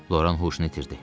Loran huşunu itirdi.